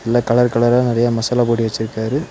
நல்ல கலர் கலரா நெறைய மசாலா பொடி வெச்சுருக்காரு.